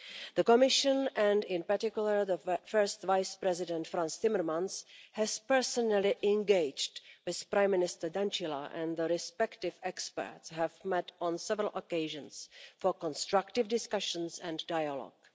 The Commission, and in particular the First Vice President, Frans Timmermans, has personally engaged with Prime Minister Dăncilă, and the respective experts have met on several occasions for constructive discussions and dialogue.